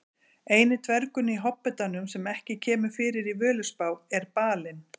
Eini dvergurinn í Hobbitanum sem ekki kemur fyrir í Völuspá er Balinn.